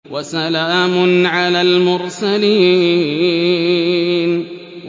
وَسَلَامٌ عَلَى الْمُرْسَلِينَ